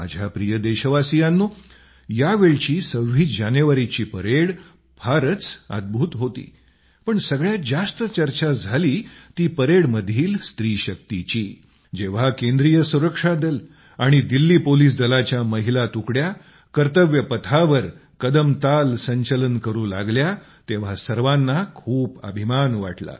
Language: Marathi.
माझ्या प्रिय देशवासीयांनो यावेळची 26 जानेवारीची परेड फारच अद्भूत अप्रतिम होती पण सगळ्यात जास्त चर्चा झाली ती परेडमधील स्त्री शक्तीची जेव्हा केंद्रीय सुरक्षा दल आणि दिल्ली पोलिस दलातील महिलांच्या तुकड्या कर्तव्य पथावर कदम ताल संचलन करू लागल्या तेव्हा सर्वाना खूप अभिमान वाटला